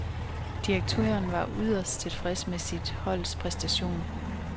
Direktøren var yderst tilfreds med sit holds præstation.